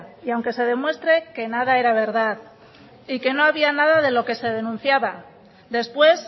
y aunque se demuestre que nada era verdad y que nohabía nada de lo que se denunciaba después